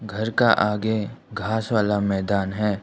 घर का आगे घास वाला मैदान है।